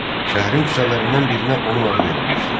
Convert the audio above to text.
Şəhərin küçələrindən birinə onun adı verilmişdi.